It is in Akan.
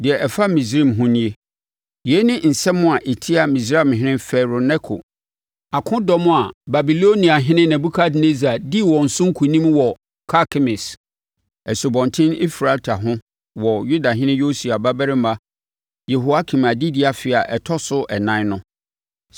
Deɛ ɛfa Misraim ho no nie: Yei ne nsɛm a ɛtia Misraimhene Farao Neko akodɔm a Babiloniahene Nebukadnessar dii wɔn so nkonim wɔ Karkemis, Asubɔnten Eufrate ho wɔ Yudahene Yosia babarima Yehoakim adedie afe a ɛtɔ so ɛnan no: